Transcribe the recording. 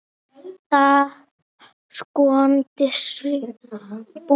Það var skondin sambúð.